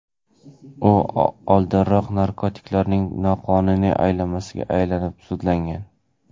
U oldinroq narkotiklarning noqonuniy aylanmasida ayblanib, sudlangan.